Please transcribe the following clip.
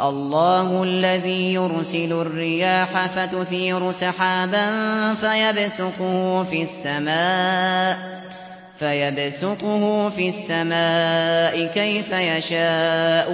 اللَّهُ الَّذِي يُرْسِلُ الرِّيَاحَ فَتُثِيرُ سَحَابًا فَيَبْسُطُهُ فِي السَّمَاءِ كَيْفَ يَشَاءُ